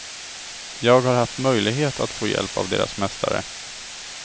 Jag har haft möjlighet att få hjälp av deras mästare.